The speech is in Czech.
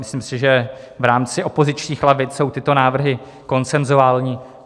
Myslím si, že v rámci opozičních lavic jsou tyto návrhy konsenzuální.